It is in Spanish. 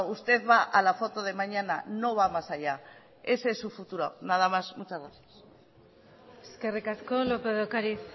usted va a la foto de mañana no va más allá ese es su futuro nada más muchas gracias eskerrik asko lópez de ocariz